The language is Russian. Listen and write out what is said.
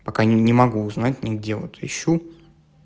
пока не не могу узнать негде вот ищу